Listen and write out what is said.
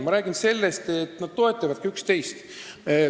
Ma räägin sellest, et nad toetavadki üksteist.